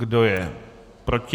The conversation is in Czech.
Kdo je proti?